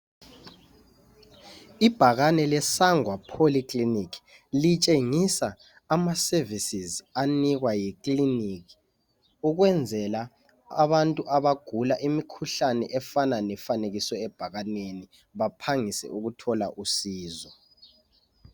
Ibhakane leSangwa Polyclinic litshengisa amaservices anikwa yiclinic ukwenzela abantu abagula imikhuhlane efanekiswe ebhakaneni baphangise ukuthola usizo.